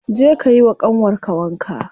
Je ka yiwa ƙanwar ka wanka.